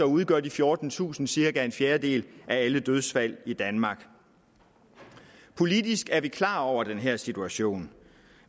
udgør de fjortentusind dødsfald cirka en fjerdedel af alle dødsfald i danmark politisk er vi klar over den her situation